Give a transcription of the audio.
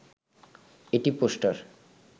এটি পোস্টার